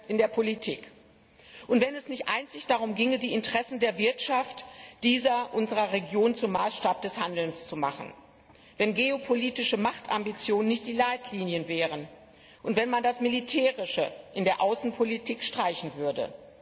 in der Politik gestrichen würde und wenn es nicht einzig darum ginge, die Interessen der Wirtschaft dieser unserer Region zum Maßstab des Handelns zu machen, wenn geopolitische Machtambitionen nicht die Leitlinien wären und wenn man das Militärische in der Außenpolitik streichen würde.